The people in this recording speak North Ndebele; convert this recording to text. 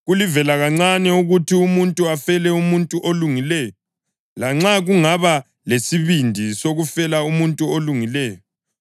Kulivelakancane ukuthi umuntu afele umuntu olungileyo, lanxa kungaba lolesibindi sokufela umuntu olungileyo.